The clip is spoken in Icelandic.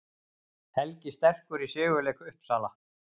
Helgi sterkur í sigurleik Uppsala